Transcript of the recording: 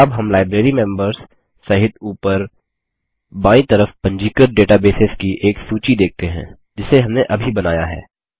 अब हम लाइब्रेरीमेंबर्स सहित ऊपर बायीं तरफ पंजीकृत डेटाबेसेस की एक सूची देखते हैं जिसे हमने अभी बनाया है